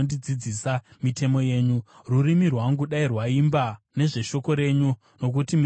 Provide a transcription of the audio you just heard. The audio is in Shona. Rurimi rwangu dai rwaimba nezveshoko renyu, nokuti mirayiro yenyu yose yakarurama.